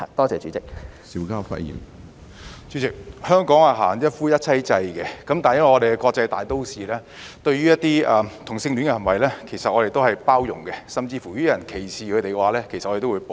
主席，香港行一夫一妻制，但因為我們是國際大都市，對於同性戀行為，我們都是包容的，甚至如果有人歧視他們，我們都會保護。